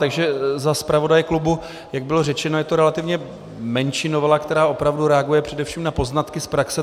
Takže za zpravodaje klubu, Jak bylo řečeno, je to relativně menší novela, která opravdu reaguje především na poznatky z praxe.